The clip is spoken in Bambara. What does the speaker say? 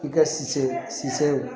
I ka cisse cis